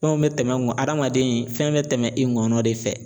Fɛnw bɛ tɛmɛ adamaden fɛn bɛ tɛmɛ i ŋɔnɔ de fɛ